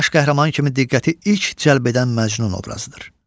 Baş qəhrəman kimi diqqəti ilk cəlb edən Məcnun obrazıdır.